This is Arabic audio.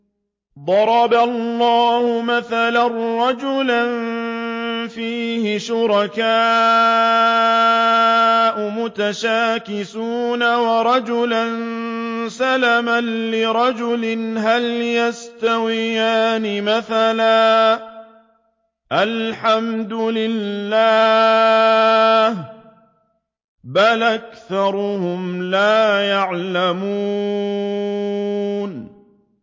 ضَرَبَ اللَّهُ مَثَلًا رَّجُلًا فِيهِ شُرَكَاءُ مُتَشَاكِسُونَ وَرَجُلًا سَلَمًا لِّرَجُلٍ هَلْ يَسْتَوِيَانِ مَثَلًا ۚ الْحَمْدُ لِلَّهِ ۚ بَلْ أَكْثَرُهُمْ لَا يَعْلَمُونَ